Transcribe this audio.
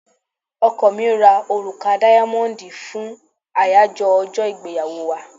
Ọkọ mi ra òrùka dáyámọ́dì fún àyájọ ọjọ́ ìgbéyàwó wa.